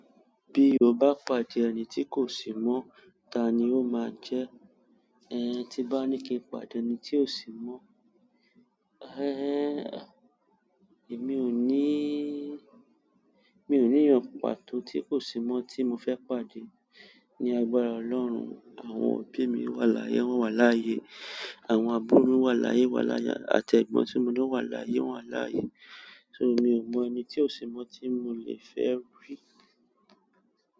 Bí o bá pàdé ẹni tí kò sì mọ̀, ta ni o máa jẹ́? Ẹ̀ẹ̀n tí n bá ní kí n pàdé ẹni tí kò sì mọ́, ẹ́ẹ́n, èmi ò ní, mi ò ní eyan pàtó ti kò sì mọ́ tí mo fẹ́ pàdé ní agbára Ọlọ́run. Àwọn òbí mi wà láyé, wọ́n wà láyé. Àwọn àbúrò mi wà l'áyé, wà l'áye. Àtẹ́gbọ́n tí mo ní wà l'áyé, wọ́n wà láyé. So, mi ò mọ ẹni tí ò sì mọ̀ tí mo le fẹ́ rí.